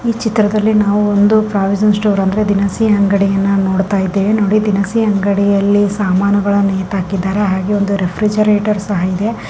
E ಚಿತ್ರದಲ್ಲಿ ನಾವು ಒಂದು ಪ್ರಾವಿಷನ್ ಸ್ಟೋರ್ಸ್ ಅಂದ್ರೆ ದಿನಸಿ ಅಂಗಡ್ಡಿಯನ್ನ ನೋಡತಾ ಇದ್ದೇವೆ ನೋಡಿ ದಿನಸಿ ಅಂಗಡಿಯಲ್ಲಿ ಸಾಮಾನು ಗಳು ನೇತಾಕಿದ್ದೇವೆ ನೋಡಿ ದಿನಸಿ ಅಂಗಡಿಯಲ್ಲಿ ಸಾಮಾನುಗಳು ನೇತಾಕಿದ್ದಾರೆ ಹಾಗೆ ಒಂದು ರಿಫ್ರೆಜಾರೇಟರ್ ಸಹ ಇದೆ.